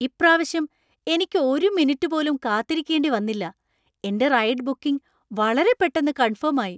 ഇപ്രാവശ്യം എനിക്ക് ഒരു മിനിറ്റ് പോലും കാത്തിരിക്കേണ്ടി വന്നില്ല. എന്‍റെ റൈഡ് ബുക്കിംഗ് വളരെ പെട്ടന്ന് കൺഫേം ആയി !